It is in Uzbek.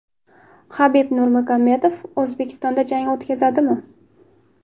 Habib Nurmagomedov O‘zbekistonda jang o‘tkazadimi?